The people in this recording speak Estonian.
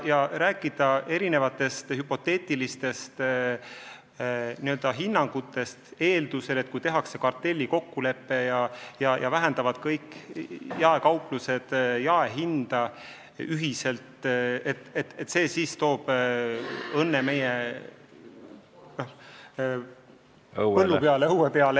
Te räägite erinevatest hüpoteetilistest hinnangutest, mis rajanevad eeldusel, et tehakse kartellikokkulepe ja kõik jaekauplused alandavad ühiselt jaehindu ning see toob õnne meie õuele.